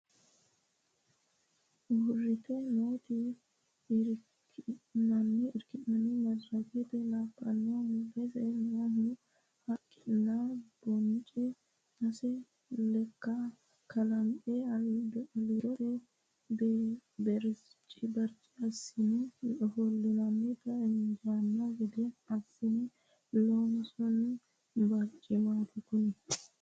Uurrite nooti irkinanni madarake labbanna mulese noohu haqqunni bonce sase lekka kalanqe aliidosi berce assine ofollate injano gede assine loonsoni barcimati kuni.